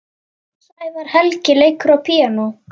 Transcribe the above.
Sævar Helgi leikur á píanó.